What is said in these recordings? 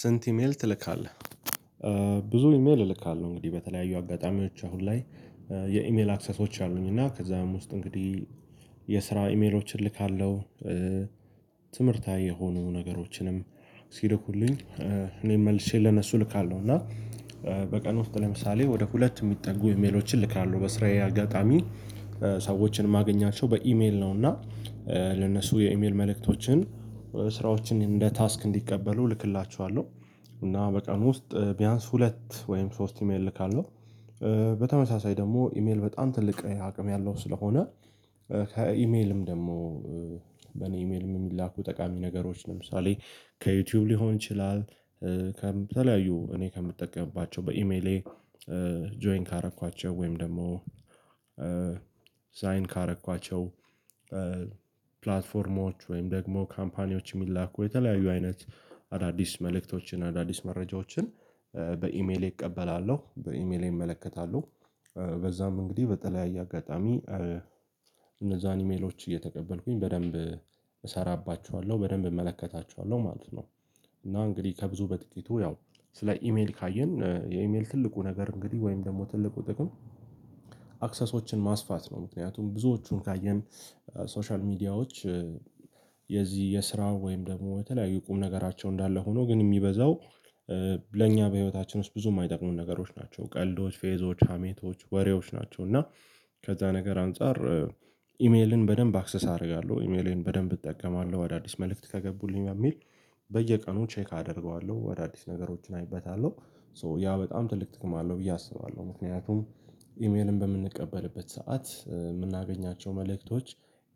ስንት ኢሜል ትልካለህ? ብዙ ኢሜል እልካለሁ እንግዲህ በተለያዩ አጋጣሚዎች አሁን ላይ የኢሜል አክሰሶች አሉኝ እና ከዛም ውስጥ እንግዲህ የስራ ኢሜሎችን እልካለሁ። ትምህርታዊ የሆኑ ነገሮችንም ሲልኩልኝ እኔ መልሼ ለነሱ እልካለሁ እና በቀን ውስጥ ለምሳሌ ወደ ሁለት የሚጠጉ ኢሜሎችን እልካለሁ በስራዬ አጋጣሚ ሰዎችን እማገኛቸው በኢሜል ነው። እና ለነሱ የኢሜል መልእክቶችን ስራዎችን እንደ ታስክ እንዲቀበሉ እልክላችኋለሁ እና በቀን ውስጥ ቢያንስ ሁለት ወይም ሶስት ኢሜል እልካለሁ። በተመሳሳይ ደግሞ ኢሜል በጣም ትልቅ አቅም ያለው ስለሆነ ከኢሜልም ደግሞ በኔ ኢሜልም የሚላኩ ጠቃሚ ነገሮች ለምሳሌ ከዩቲዩብ ሊሆን ይችላል። ከተለያዩ እኔ ከምጠቀምባቸው በኢሜሌ ጆይን ካደረኳቸው ወይም ደግሞ ሳይን ካደረኳቸው ፕላትፎርሞች ወይም ደግሞ ካምፓኒዎች የሚላኩ የተለያዩ አይነት አዳዲስ መልእክቶችን አዳዲስ መረጃዎችን በኢሜሌ እቀበላለሁ በኢሜሌ እመለከታለሁ። በዛም እንግዲህ በተለያየ አጋጣሚ እነዛን ኢሜሎች እየተቀበልኩኝ በደንብ እሰራባችኋለሁ በደንብ እመለከታቸዋለሁ ማለት ነው። እና እንግዲህ ከብዙ በጥቂቱ ያው ስለ ኢሜል ካየን የኢሜል ትልቁ ነገር እንግዲህ ወይም ደግሞ ትልቁ ጥቅም አክሰሶችን ማስፋት ነው። ምክንያቱም ብዙዎቹን ካየን ሶሻል ሚዲያዎች የዚህ የስራ ወይም ደግሞ በተለያዩ ቁም ነገራቸው እንዳለ ሆኖ ግን የሚበዛው ለእኛ በህይወታችን ውስጥ ብዙ የማይጠቅሙ ነገሮች ናቸው ቀልዶች ፌዞች ሀሜቶች ወሬዎች ናቸው። እና ከተለያዩ እኔ ከምጠቀምባቸው በኢሜሌ ጆይን ካደረኳቸው ወይም ደግሞ ሳካን ካደረኳቸው ፕላትፎርሞች ወይም ደግሞ ካምፓኒዎች የሚላኩ የተለያዩ አይነት አዳዲስ መልእክቶችን አዳዲስ መረጃዎችን ኢሜልን በምንቀበልበት ሰዓት የምናገኛቸው መልእክቶች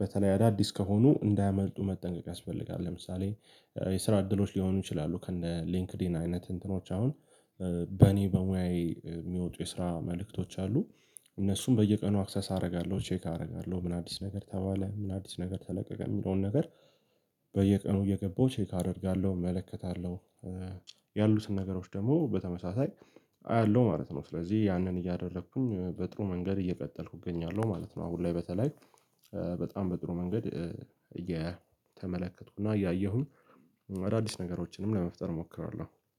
በተለይ አዳዲስ ከሆኑ እንዳያመልጡ መጠንቀቅ ያስፈልጋል። ለምሳሌ የስራ እድሎች ሊሆኑ ይችላሉ ከነ ሊንክድኢን አይነት እንትኖች አሁን በእኔ በሙያዬ የሚወጡ የስራ መልእክቶች አሉ። እነሱም በየቀኑ አክሰስ አደርጋለሁ ቼክ አደርጋለሁ ምን አዲስ ነገር ተባለ ምን አዲስ ነገር ተለቀቀ የሚለውን ነገር? በየቀኑ እየገባሁ ቼክ አደርጋለሁ እመለከታለሁ ያሉትን ነገሮች ደግሞ በተመሳሳይ አያለሁ ማለት ነው። ስለዚህ ያንን እያደረኩኝ በጥሩ መንገድ እየቀጠልኩ እገኛለሁ ማለት ነው። አሁን ላይ በተለይ በጣም በጥሩ መንገድ እየተመለከትኩ እና እያየሁኝ አዳዲስ ነገሮችንም ለመፍጠር እሞክራለሁ